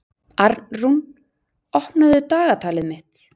Arnrún, opnaðu dagatalið mitt.